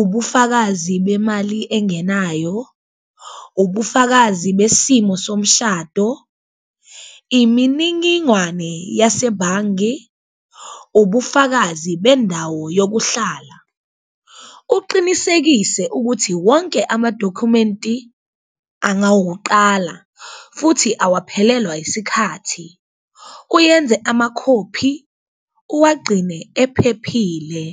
ubufakazi bemali engenayo, ubufakazi besimo somshado, iminingingwane yasebhangi, ubufakazi bendawo yokuhlala. Uqinisekise ukuthi wonke amadokhumenti angawuqala futhi awaphelelwa isikhathi, uyenze amakhophi uwagcine ephephile.